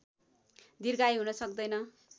दीर्घायु हुन सक्दैन